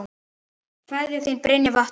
Kveðja, þín Brynja Vattar.